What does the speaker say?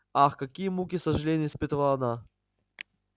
ах какие муки сожалений испытывала она